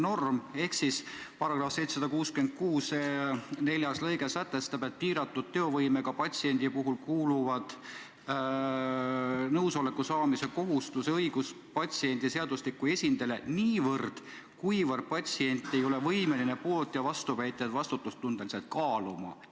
Võlaõigusseaduse § 766 lõige 4 sätestab, et piiratud teovõimega patsiendi puhul kuulub nõusoleku saamise kohustus ja õigus patsiendi seaduslikule esindajale niivõrd, kuivõrd patsient ei ole võimeline poolt- ja vastuväiteid vastutustundeliselt kaaluma.